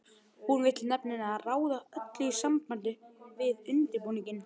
Hún vill nefnilega ráða öllu í sambandi við undirbúninginn.